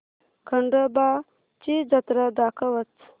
खंडोबा ची जत्रा दाखवच